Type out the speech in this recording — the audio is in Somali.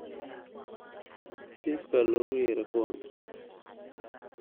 Chifka lookuyere kuwan.